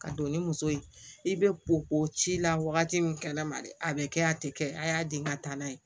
Ka don ni muso ye i bɛ ko ko ci la wagati min kɛnɛma dɛ a bɛ kɛ a tɛ kɛ a y'a den ka taa n'a ye